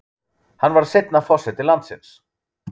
Hann varð seinna forseti landsins.